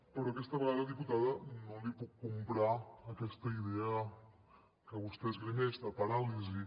però aquesta vegada diputada no li puc comprar aquesta idea que vostè esgrimeix de paràlisi